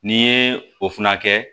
N'i ye o fana kɛ